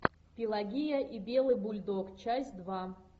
пелагия и белый бульдог часть два